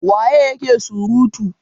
waye yake surutu!